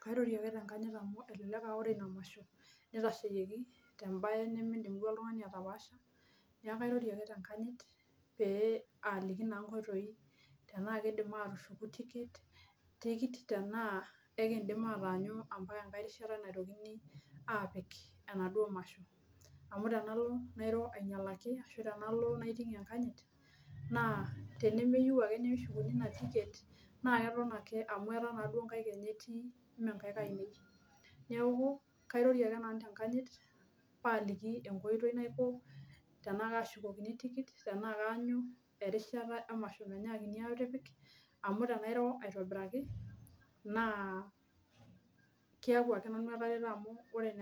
Kairorie ake tenkanyit amu elelek aaore ina masho neitasheyieki tembae nimidim duo oltungani atapaasha. Neeku kairorie ake duo tenkanyit peealiki naa inkoitoi tenaa kidim atushuku tikit tenaa ekidim ataanyu ambaka enkae rishata naitokini aapik enaduo masho, amu tenalo nairo anyialaki ashu tenalo naitinkie enkanyit, naa tenemeyieu ake neshukuni ina tiket, naa keton amu aetaa duo inkaik enyanak etii meenkaik ainei. Neeku kairorie ake nanu tenkanyit, paaliki enkoitoi naiko tenaa kashukoki tikit tenaa kaanyu erishata emasho menyiakini aatipik, amu tenairo aitobiraki naa keeku ake nanu etareto